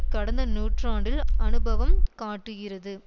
கடந்த நூற்றாண்டில் அனுபவம் காட்டுகிறது